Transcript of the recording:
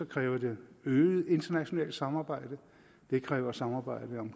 kræver det øget internationalt samarbejde det kræver samarbejde om